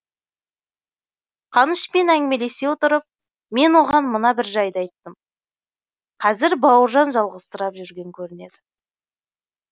қанышпен әңгімелесе отырып мен оған мына бір жайды айттым қазір бауыржан жалғызсырап жүрген көрінеді